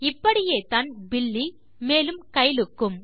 இப்படியேத்தான் Billy மேலும் Kyle க்கும்